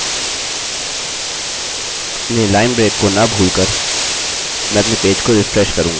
अपने line break को न भूलकर मैं अपने पेज को रिफ्रेश करूँगा